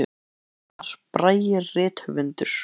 Einn þeirra var Einar Bragi rithöfundur.